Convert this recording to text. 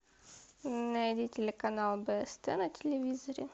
найди телеканал бст на телевизоре